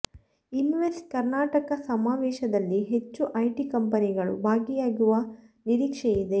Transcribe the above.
invest Karnataka ಸಮಾವೇಶದಲ್ಲಿ ಹೆಚ್ಚು IT ಕಂಪನಿಗಳು ಭಾಗಿಯಾಗುವ ನಿರೀಕ್ಷೆ ಇದೆ